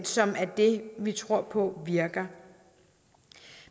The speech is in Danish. som er det vi tror på virker